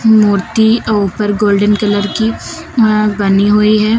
मूर्ति ऊपर golden colour की अ बनी हुई है।